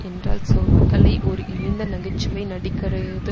என்றால் சொற்களை ஒரு இழிந்த நகை சுவை நடிகரையது